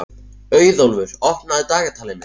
Auðólfur, opnaðu dagatalið mitt.